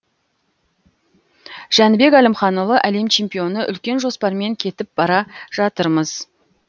жәнібек әлімханұлы әлем чемпионы үлкен жоспармен кетіп бара жатырмыз